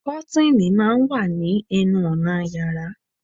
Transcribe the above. Kọ́tìnì máa ń wà ní ẹnu ọnà yàrá